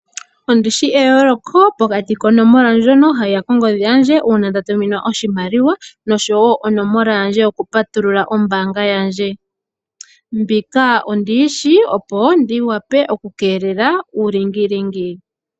Ondi shi eyooloko pokati konomola ndjono hayi ya kongodhi yandje uuna nda tuminwa oshimaliwa, nosho wo onomola yandje yokupatulula ombaanga yandje. Mbika ondi yi shi opo ndi wape okukeelela uulingilingi.